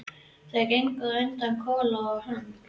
Þau gengu á undan, Kolla og hann.